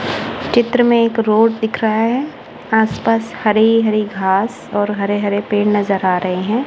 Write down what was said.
चित्र में एक रोड दिख रहा है। आसपास हरे-हरे घास और हरे-हरे पेड़ नजर आ रहे हैं।